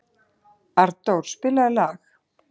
Arndór, spilaðu lag.